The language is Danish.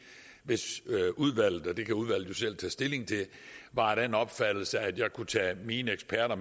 hvis udvalget og det kan udvalget tage stilling til var af den opfattelse at jeg kunne tage mine eksperter